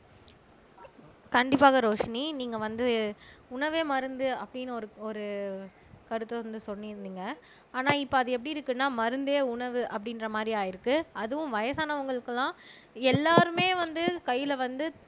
கண்டிப்பாக ரோஷினி நீங்க வந்து உணவே மருந்து அப்படின்னு ஒரு ஒரு கருத்து வந்து சொல்லி இருந்தீங்க ஆனா இப்ப அது எப்படி இருக்குன்னா மருந்தே உணவு அப்படின்ற மாரி ஆயிருக்கு அதுவும் வயசானவங்களுக்குலாம் எல்லாருமே வந்து கையில வந்து